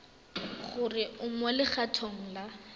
gore o mo legatong la